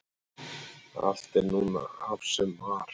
allt er núna af sem var